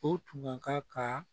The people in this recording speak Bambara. O tun ka kan ka